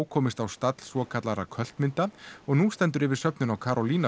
komist á stall svokallaðra mynda og nú stendur yfir söfnun á